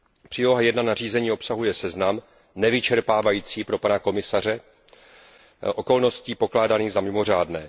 Příloha I nařízení obsahuje seznam nevyčerpávající pro pana komisaře okolností pokládaných za mimořádné.